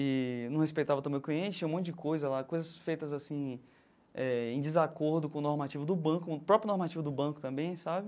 E não respeitava também o cliente, tinha um monte de coisa lá, coisas feitas assim eh em desacordo com o normativo do banco, o próprio normativo do banco também, sabe?